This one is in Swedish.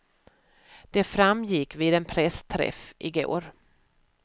Det framgick vid en pressträff i går.